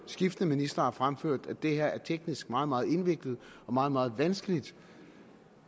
skiftende ministre har fremført at det her teknisk er meget meget indviklet og meget meget vanskeligt